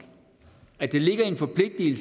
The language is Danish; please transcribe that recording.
i